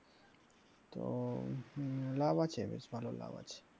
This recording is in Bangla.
তো লাভ আছে বেশ ভালো লাভ আছে মোটামুটি।